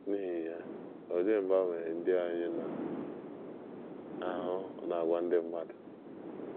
N’ihi ya, olee mgbanwe ndị anyị na - ahụ n’àgwà ndị mmadụ?